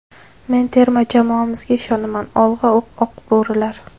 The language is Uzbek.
Men terma jamoamizga ishonaman ‘Olg‘a, Oq bo‘rilar!